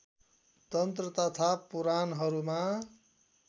तन्त्र तथा पुराणहरूमा